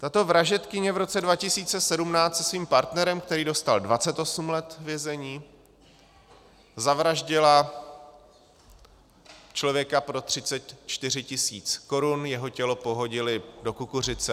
Tato vražedkyně v roce 2017 se svým partnerem, který dostal 28 let vězení, zavraždila člověka pro 34 tisíc korun, jeho tělo pohodili do kukuřice.